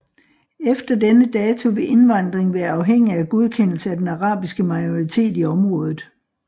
Efter denne dato ville indvandring være afhængig af godkendelse af den arabiske majoritet i området